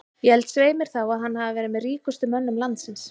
Ég held svei mér þá að að hann hafi verið með ríkustu mönnum landsins.